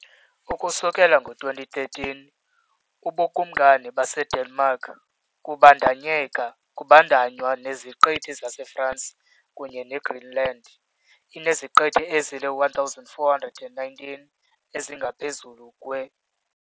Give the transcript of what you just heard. Ukusukela ngo-2013, uBukumkani baseDenmark, kubandakanywa neZiqithi zaseFaroe kunye neGreenland, ineziqithi ezili-1,419 ezingaphezulu kwe .